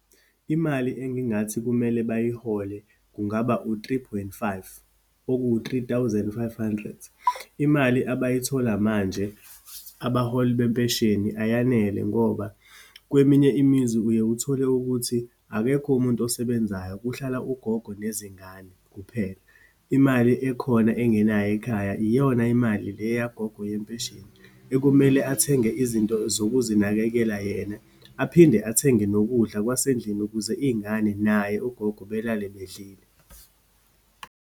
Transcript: Imali engingathi kumele bayihole kungaba u-three point five, okuwu-three thousand five hundred. Imali abayithola manje, abaholi bempesheni, ayanele ngoba kweminye imizi uye uthole ukuthi akekho umuntu osebenzayo, kuhlala ugogo nezingane kuphela. Imali ekhona, engenayo ekhaya, iyona imali le yagogo yempesheni, ekumele athenge izinto zokuzinakekela yena, aphinde athenge nokudla kwasendlini ukuze iyingane naye ugogo belale bedlile.